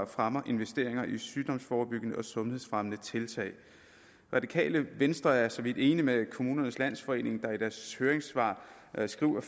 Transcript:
fremmer investeringer i sygdomsforebyggende og sundhedsfremmende tiltag det radikale venstre er for så vidt enig med kommunernes landsforening der i deres høringssvar skriver